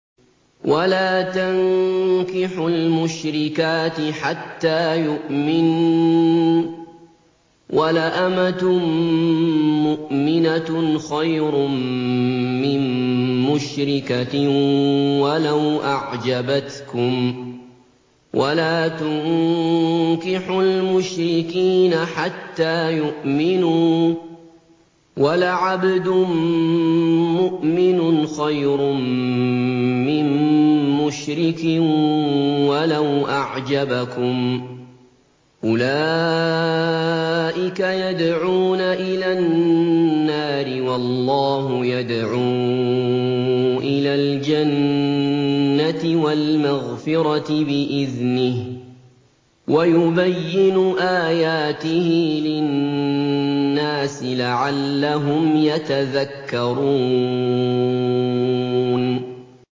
وَلَا تَنكِحُوا الْمُشْرِكَاتِ حَتَّىٰ يُؤْمِنَّ ۚ وَلَأَمَةٌ مُّؤْمِنَةٌ خَيْرٌ مِّن مُّشْرِكَةٍ وَلَوْ أَعْجَبَتْكُمْ ۗ وَلَا تُنكِحُوا الْمُشْرِكِينَ حَتَّىٰ يُؤْمِنُوا ۚ وَلَعَبْدٌ مُّؤْمِنٌ خَيْرٌ مِّن مُّشْرِكٍ وَلَوْ أَعْجَبَكُمْ ۗ أُولَٰئِكَ يَدْعُونَ إِلَى النَّارِ ۖ وَاللَّهُ يَدْعُو إِلَى الْجَنَّةِ وَالْمَغْفِرَةِ بِإِذْنِهِ ۖ وَيُبَيِّنُ آيَاتِهِ لِلنَّاسِ لَعَلَّهُمْ يَتَذَكَّرُونَ